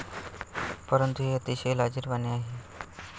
परंतु हे अतिशय लाजीरवाणे आहे.